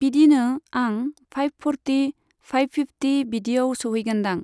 बिदिनो आं five forty, five fifty बिदियाव सौहैगोनदां।